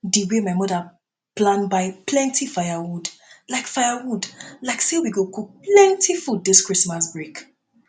di wey my mother plan buy plenty firewood like firewood like say we go cook plenty food dis christmas break